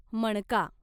मणका